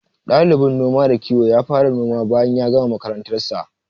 Ɗalibin noma da kiwon ya fara noma bayan gama makarantar sa.